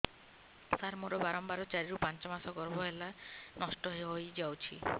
ସାର ମୋର ବାରମ୍ବାର ଚାରି ରୁ ପାଞ୍ଚ ମାସ ଗର୍ଭ ହେଲେ ନଷ୍ଟ ହଇଯାଉଛି